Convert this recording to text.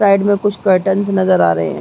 Side में कुछ curtains नज़र आ रहै है।